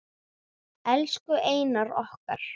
Elsku Einar okkar.